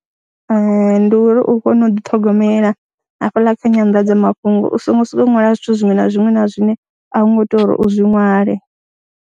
Ee, ndi uri u kone u ḓiṱhogomela hafhaḽa kha nyandadzamafhungo u songo sokou ṅwala zwithu zwiṅwe na zwiṅwe na zwine a u ngo tea uri u zwi ṅwale.